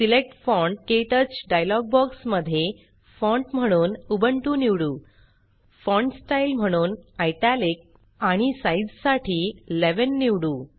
select font क्टच dialog box मध्ये font म्हणून उबंटू निवडू फॉन्ट स्टाईल म्हणून इटालिक आणि साइझ साठी 11 निवडू